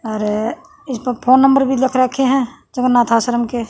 अर इसपे phone number भी लिख राखे हं अनाथ आश्रम के।